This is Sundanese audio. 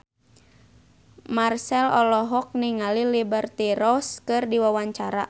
Marchell olohok ningali Liberty Ross keur diwawancara